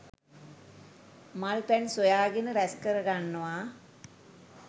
මල් පැන් සොයා ගෙන රැස්කර ගන්නවා.